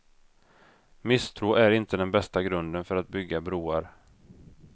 Misstro är inte den bästa grunden för att bygga broar.